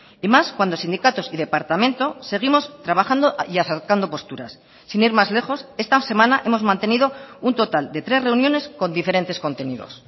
y más cuando sindicatos y departamento seguimos trabajando y acercando posturas sin ir más lejos esta semana hemos mantenido un total de tres reuniones con diferentes contenidos